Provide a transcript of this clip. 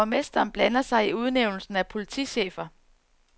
Borgmesteren blander sig i udnævnelsen af politichefer.